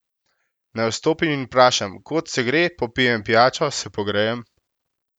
Naj vstopim in vprašam, kod se gre, popijem pijačo, se pogrejem?